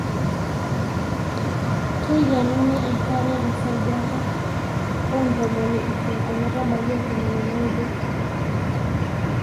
keikenuni enkare tesajata oo ntomoni isiet ometbaiki ntomoni naaudo